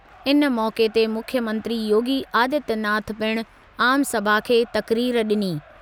इन मौक़े ते मुख्यमंत्री योगी आदित्यनाथ पिणु आम सभा खे तक़रीर ॾिनी।